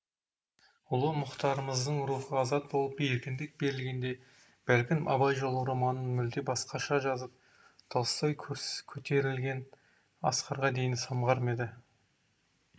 ұлы мұхтарымыздың рухы азат болып еркіндік берілгенде бәлкім абай жолы романын мүлде басқаша жазып толстой көтерілген асқарға дейін самғар ма еді